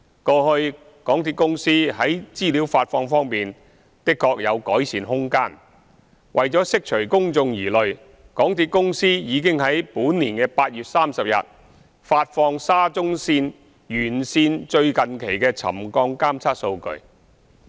過去港鐵公司在資料發放方面的確有改善空間，為釋除公眾疑慮，港鐵公司已於本年8月30日發放沙中線沿線最近期的沉降監測數據。